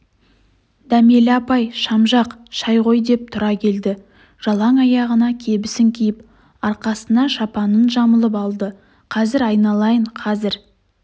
дәмелі апай шам жақ шай қой деп тұра келді жалаң аяғына кебісін киіп арқасына шапанын жамылып алды қазір айналайын қазір